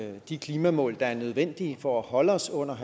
nå de klimamål der er nødvendige for at holde os under